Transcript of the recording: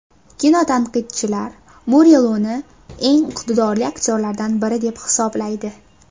Kinotanqidchilar Muriluni eng iqtidorli aktyorlardan biri deb hisoblaydi.